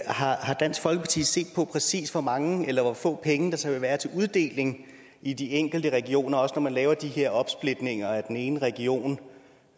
har dansk folkeparti set på præcis hvor mange eller hvor få penge der så vil være til uddeling i de enkelte regioner også når man laver de her opsplitninger af den ene region